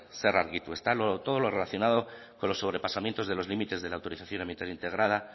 zer argitu ezta todo lo relacionado con los sobrepasamientos de los límites de la autorización ambiental integrada